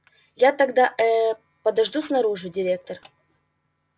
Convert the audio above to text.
я тогда э-э подожду снаружи директор